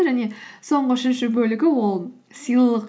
және соңғы үшінші бөлігі ол сыйлық